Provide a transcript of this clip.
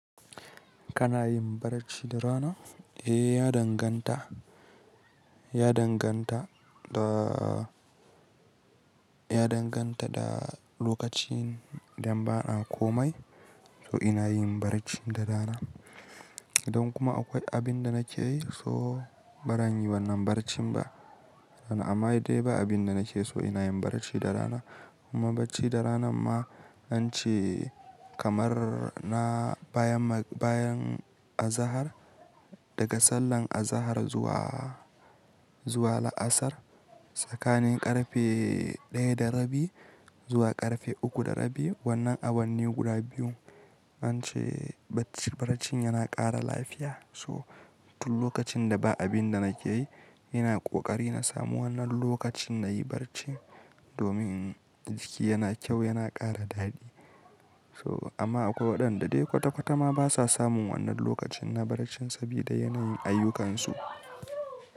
Kana yin barci da rana? Eh, ya danganta. Ya danganta da, ya danganta da lokacin idan banakomai so ina yin barci da rana. Idan kuma akwai abin da nake yi so baran yi wannan barcin ba. Amma dai ba abin da nake so ina yin barci da rana. Kuma barci da rana ma ance kamar na bayan, bayan azahar daga sallar azahar zuwa, zuwa la'asar, tsakanin ƙarfe ɗaya da rabi zuwa ƙarfe uku da rabi. Wannan a wannan guda biyu ance barcin yana ƙara lafiya. So duk lokacin da ba abin da nake yi, ina ƙoƙari na samu wannan lokacin na yi barci domin jiki yana kyau, yana ƙara daɗi. So amma akwai waɗanda dai kwata-kwata ma basa samun wannan lokacin na barci saboda yanayin ayyukansu.